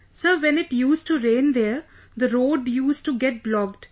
Sir, when it used to rain there, the road used to get blocked